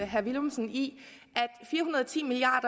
herre villumsen i at fire hundrede og ti milliard